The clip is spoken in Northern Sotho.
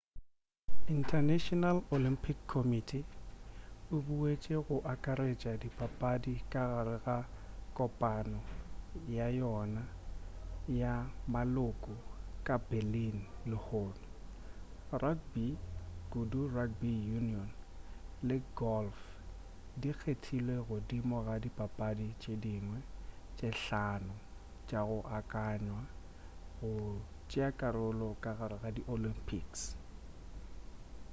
international olympic committee e boutetše go akaretša dipapadi ka gare ga kopano ya yona ya maloko ka berlin lehono rugby kudu rugby union le golf di kgethilwe godimo ga dipapadi tše dingwe tše hlano tša go akanywa go tšeakarolo ka gare ga di olympics